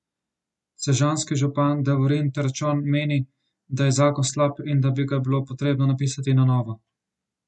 Sežanski župan Davorin Terčon meni, da je zakon slab in da bi ga bilo potrebno napisati na novo.